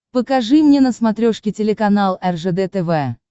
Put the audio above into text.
покажи мне на смотрешке телеканал ржд тв